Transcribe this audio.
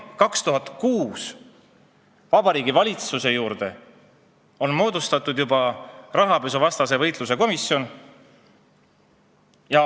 Juba 2006. aastal moodustati Vabariigi Valitsuse juurde rahapesuvastase võitluse komisjon.